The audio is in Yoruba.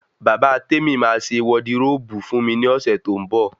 Bàbá Temi máa ṣe wọdiróòbù fún mi ní ọ̀sẹ̀ tó ń bọ̀